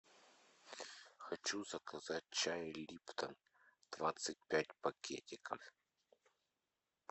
хочу заказать чай липтон двадцать пять пакетиков